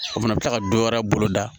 O fana bɛ tila ka dɔ wɛrɛ bolo da